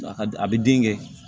A ka a bi den kɛ